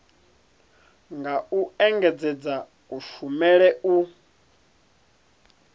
nga u engedzedza kushumele u